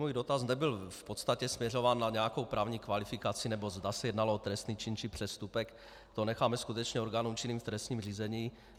Můj dotaz nebyl v podstatě směřován na nějakou právní kvalifikaci nebo zda se jednalo o trestný čin či přestupek, to necháme skutečně orgánům činným v trestním řízení.